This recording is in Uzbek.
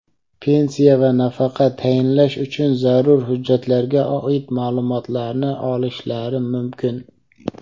pensiya va nafaqa tayinlash uchun zarur hujjatlarga oid ma’lumotlarni olishlari mumkin.